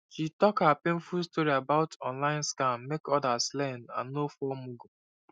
she talk her painful story about online scam make others learn and no fall mugu